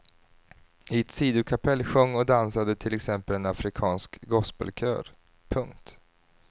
I ett sidokapell sjöng och dansade till exempel en afrikansk gospelkör. punkt